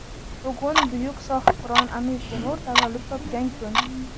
Bugun buyuk sohibqiron Amir Temur tavallud topgan kun.